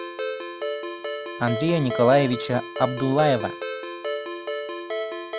андрея николаевича абдуллаева